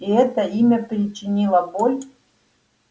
и это имя причинило боль